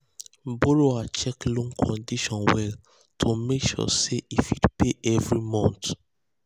borrower check loan condition well to make sure say um e fit pay every month.